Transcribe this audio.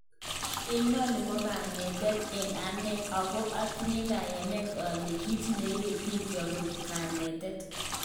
Inoni kanetet eng ane, ako otinye kayanet ole kit neibe bikyok koik kanetet